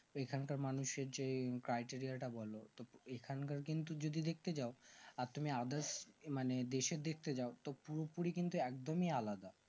এখানকার মানুষের যে টাইটেরিটা বোলো তো এখানকার কিন্তু যদি দেখতে যাও আর তুমি others মানে দেশের দেখতে যাও তো পুরোপুরি কিন্তু একদমই আলাদা